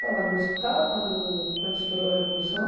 Você já estava no hospital quando quando estourou a Revolução?